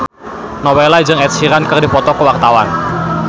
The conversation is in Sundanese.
Nowela jeung Ed Sheeran keur dipoto ku wartawan